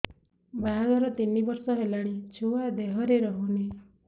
ବାହାଘର ତିନି ବର୍ଷ ହେଲାଣି ଛୁଆ ଦେହରେ ରହୁନି